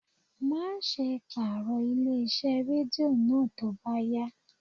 Má ṣe pàrọ̀ ilé iṣẹ́ Rédíò náà tó bá yá.